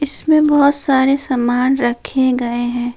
इसमें बहोत सारे सामान रखे गए हैं।